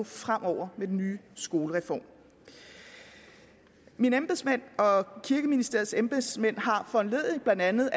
fremover med den nye skolereform mine embedsmænd og kirkeministeriets embedsmænd har foranlediget af blandt andet